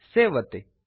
save ಒತ್ತಿ